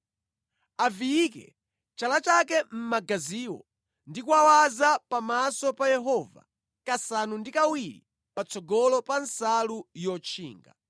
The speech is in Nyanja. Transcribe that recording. Aviyike chala chake mʼmagaziwo ndi kuwawaza pamaso pa Yehova kasanu ndi kawiri patsogolo pa nsalu yotchinga.